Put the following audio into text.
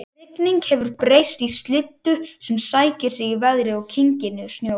Rigningin hefur breyst í slyddu sem sækir í sig veðrið og kyngir niður snjó